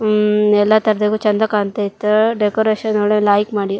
ಉಹ್ ಎಲ್ಲಾ ತರದಗೂ ಚಂದ ಕಾಣತ್ತಾ ಇತ್ತು ಡೆಕೋರೇಷನ್ ಒಳ್ಳೆ ಲೈಕ್ ಮಾಡಿರು.